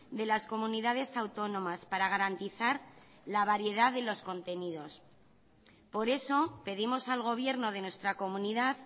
de las comunidades autónomas para garantizar la variedad de los contenidos por eso pedimos al gobierno de nuestra comunidad